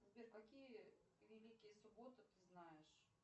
сбер какие великие субботы ты знаешь